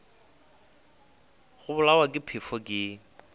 go bolawa ke phefo ke